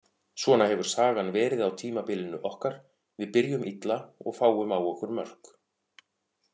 Svona hefur sagan verið á tímabilinu okkar, við byrjum illa og fáum á okkur mörk.